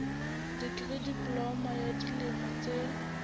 dikri diploma ya dilemo tse